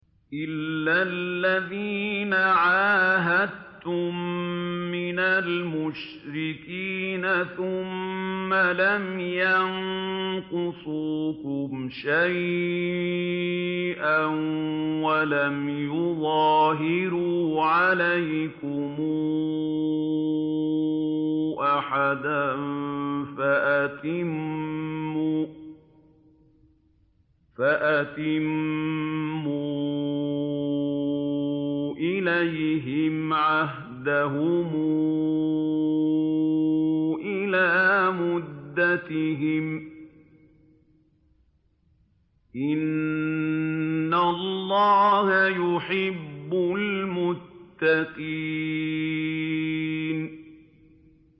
إِلَّا الَّذِينَ عَاهَدتُّم مِّنَ الْمُشْرِكِينَ ثُمَّ لَمْ يَنقُصُوكُمْ شَيْئًا وَلَمْ يُظَاهِرُوا عَلَيْكُمْ أَحَدًا فَأَتِمُّوا إِلَيْهِمْ عَهْدَهُمْ إِلَىٰ مُدَّتِهِمْ ۚ إِنَّ اللَّهَ يُحِبُّ الْمُتَّقِينَ